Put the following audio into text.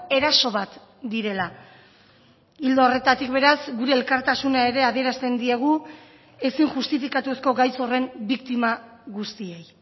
eraso bat direla ildo horretatik beraz gure elkartasuna ere adierazten diegu ezin justifikatuzko gaitz horren biktima guztiei